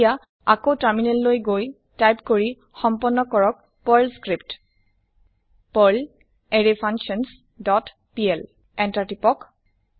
এতিয়া আকৌ টাৰ্মিনেল লৈ গৈ টাইপ কৰি সম্পন্ন কৰক perl script perl array functions dot PL Enter টিপক